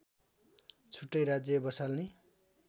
छुट्टै राज्य बसाल्ने